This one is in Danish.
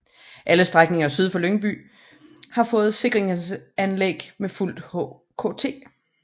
Alle strækninger syd for Lyngby har fået sikringsanlæg med fuld HKT